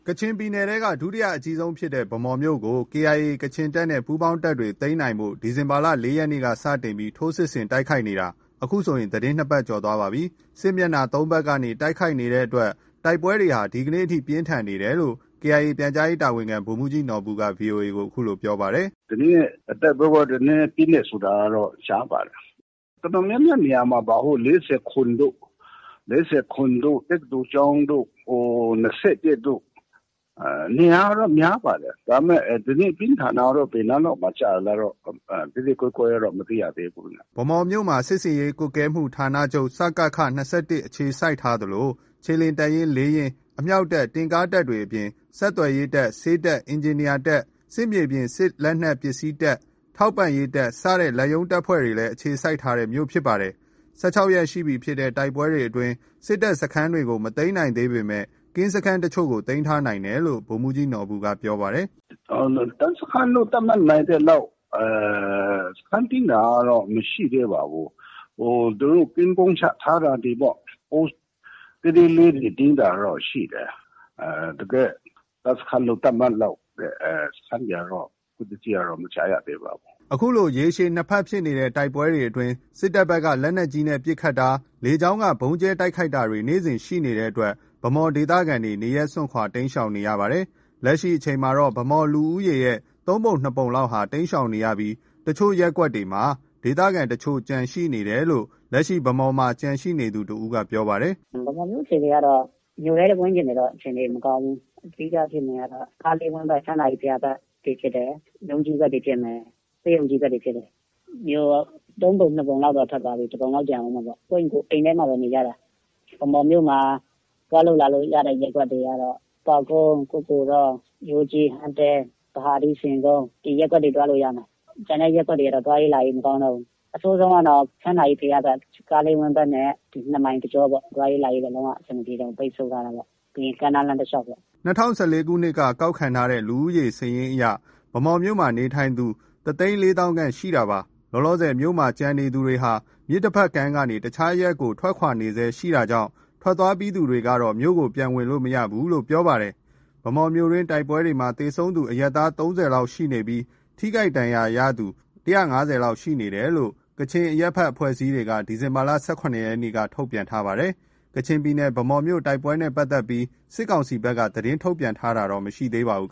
ကချင်ပြည်နယ်ထဲက ဒုတိယအကြီးဆုံးဖြစ်တဲ့ ဗန်းမော်မြို့ကို KIA ကချင်တပ်နဲ့ ပူးပေါင်းတပ်တွေ သိမ်းနိုင်ဖို့ ဒီဇင်ဘာလ ၄ ရက်နေ့ စတင်ပြီး ထိုးစစ်ဆင်တိုက်ခိုက်နေတာ အခုဆို သီတင်း ၂ ပတ်ကျော် သွားပါပြီ။ စစ်မျက်နှာ ၃ ဘက်ကနေတိုက်ခိုက်နေတဲ့ တိုက်ပွဲတွေဟာ ဒီနေ့အထိ ပြင်းထန်နေတယ်လို့ KIA ပြန်ကြားရေးတာဝန်ခံ ဗိုလ်မှူးကြီးနော်ဘူက VOA ကို အခုလို ပြောပါတယ်။ “ဒီနေ့ တိုက်ပွဲကတော့ နည်းနည်း ပြင်းတယ်ဆိုတာကတော့ ကြားပါတယ်။ တော်တော်များများ နေရာ မှာပါ။ ၄၇ တို့၊ တက္ကသိုလ်ကျောင်းတို့၊ ၂၁ တို့ နေရာကတော့ များပါတယ်။ ဒါပေမဲ့ ဒီနေ့ ပြင်းထန်တာ ကတော့ ဘယ်နားလောက်မှာ ကျလဲတော့ သဲသဲကွဲကွဲတော့ မသိရသေးဘူး။” ဗန်းမော်မြို့မှာ စစ်ဆင်ရေးကွပ်ကဲမှုဌာနချုပ် ၂၁ အခြေစိုက်ထားသလို ခြေလျင်တပ်ရင်း ၄ ရင်း၊ အမြောက်တပ်၊ တင့်ကားတပ်တွေအပြင် ဆက်သွယ်ရေးတပ်၊ ဆေးတပ်၊ အင်ဂျင်နီယာတပ်၊ စစ်မြေပြင်စစ်လက်နက်ပစ္စည်းတပ်၊ ထောက်ပံ့ရေး တပ်စတဲ့ လက်ရုံးတပ်ဖွဲ့တွေလည်း အခြေစိုက် ထားတဲ့ မြို့ဖြစ်ပါတယ်။ ၁၆ ရက်ရှိပြီဖြစ်တဲ့ တိုက်ပွဲတွေအတွင်း စစ်တပ်စခန်းကြီးတွေကို မသိမ်းနိုင်သေးပေမဲ့ ကင်းစခန်းတချို့ကို သိမ်းထားနိုင်တယ်လို့ ဗိုလ်မှူးကြီးနော်ဘူက ပြောပါတယ်။ “တပ်စခန်းလို့ သတ်မှတ်နိုင်သလောက် စခန်းသိမ်းတာတော့ မရှိသေးပါဘူး။ သူတို့ ကင်းပုန်းချထားတာ တွေပေါ့။ Post သေးသေးလေးတွေ သိမ်းတာတော့ ရှိတယ်။ တကယ့် တပ်စခန်းလို့ သတ်မှတ်လောက် တဲ့ စခန်းတွေကတော့ အခုထက်ထိတော့ မကြားရသေးပါဘူး။” အခုလို ရက်ရှည် ၂ ဘက်ဖြစ်နေတဲ့ တိုက်ပွဲတွေအတွင်း စစ်တပ်ဘက်က လက်နက်ကြီး ပစ်ခတ်တာ၊ လေကြောင်းက ဗုံးကြဲတိုက်ခိုက်တာတွေ နေ့စဉ်ရှိနေတဲ့အတွက် ဗန်းမော် ဒေသခံတွေ နေရပ်စွန့်ခွာ တိမ်းရှောင်နေကြရပါတယ်။ လက်ရှိအချိန်မှာ ဗန်းမော်လူဦးရေရဲ့ သုံးပုံနှစ်ပုံလောက်ဟာ တိမ်းရှောင် နေပြီး အချို့ ရပ်ကွက်တွေမှာပဲ ဒေသခံတချို့ ကျန်တယ်လို့ လက်ရှိ ဗန်းမော်မြို့မှာ ကျန်ရှိနေသူ တဦးက ပြောပြပါတယ်။ “ဗန်းမော်မြို့အခြေအနေကတော့ မြို့ထဲ ဝန်းကျင်တွေကတော့ အခြေအနေ မကောင်းဘူး။ အဓိက ဖြစ်နေတာကတော့ ကားလေးဝန်းဘက်၊ ချမ်းသာကြီးဘုရားဘက်တွေဖြစ်တယ်။ ရုံးကြီးဘက်တွေ ဖြစ်မယ်။ ဆေးရုံကြီးဘက်တွေဖြစ်တယ်။ မြို့ သုံးပုံ နှစ်ပုံလောက်တော့ ထွက်သွားပြီ။ တပုံလောက် ကျန်အုံးမှာပေါ့။ ကိုယ့်အိမ်ကိုယ် အိမ်ထဲမှာပဲ နေကြတာ။ ဗန်းမော်မြို့မှာ သွားလို့လာလို့ ရတဲ့ ရပ်ကွက်တွေကတော့ ပေါက်ကုန်း၊ ကုက္ကိုတော၊ ရိုးကြီး၊ ဟန်းတဲ၊ ဗဟာဒူး၊ ဆင်ကုန်း ဒီရပ်ကွက်တွေ သွားလို့ ရမယ်။ ကျန်တဲ့ရပ်ကွက်တွေကတော့ သွားရေးလာရေးမကောင်းတော့ဘူး။ အဆိုးဆုံးကတော့ ချမ်းသာကြီးဘုရားဘက်၊ ကားလေးဝန်းဘက်နဲ့ ဒီ နှစ်မိုင်တကြောပေါ့။ သွားရေးလာရေးက လုံး၀ အဆင်မပြေတော့ဘူး။ ပိတ်ဆို့ထားတာပေါ့။ ပြီးရင် ကမ်းနားလမ်းတလျောက်ပေါ့။ ” ၂၀၁၄ ခုနှစ် လူဦးရေစာရင်းအရ ဗန်းမော်မြို့မှာနေထိုင်သူ တသိန်းလေးသောင်းခန့် ရှိနေတာဖြစ်ပါတယ်။ လောလောဆယ်မြို့မှာ ကျန်ရှိနေသူတွေဟာ မြစ်တဘက်ကမ်းကနေ တခြား အရပ်တွေကို ထွက်ခွာတာတွေ ရှိနေဆဲဖြစ်ကြောင်းနဲ့ ထွက်သွားပြီးသူတွေကတော့ မြို့ကို ပြန်ဝင်လို့ မရဘူးလို့ ပြောပြကြပါတယ်။ ဗန်းမော်မြို့တိုက်ပွဲအတွင်းမှာ သေဆုံးသူ အရပ်သား ၃၀ လောက်ရှိပြီး ထိခိုက်ဒဏ်ရာရသူ ၁၅၀ လောက်ရှိတယ်လို့ ကချင်အရပ်ဘက်အဖွဲ့အစည်းတွေ ဒီဇင်ဘာ ၁၇ ရက်က ထုတ်ပြန်ထားပါတယ်။ ကချင်ပြည်နယ် ဗန်းမော်မြို့ တိုက်ပွဲနဲ့ပတ်သက်ပြီး စစ်ကောင်စီဘက်က သတင်းထုတ်ပြန်တာတော့ မရှိပါဘူး